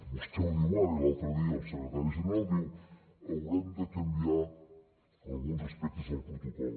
vostè ho diu ara i l’altre dia el secretari general diu haurem de canviar alguns aspectes del protocol